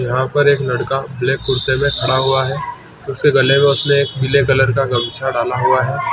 यहाँ पर एक लड़का ब्लैक कुर्ते में खड़ा हुआ है उसके गले में उसने एक पिले रंग का गमछा डाला हुआ हैं।